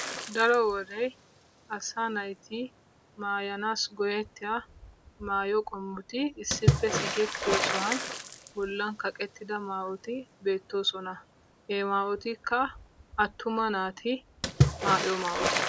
Daro wode asaa naati maayanaassi go"ettiyo maayo qommoti issippe sikettiyo sohuwan bollan kaqettida maayoti beettoosona. He maayotikka attuma. naati maayiyo maayota.